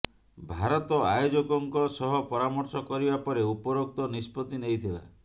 ଭାରତ ଆୟୋଜକଙ୍କ ସହ ପରାମର୍ଶ କରିବା ପରେ ଉପରୋକ୍ତ ନିଷ୍ପତି ନେଇଥିଲା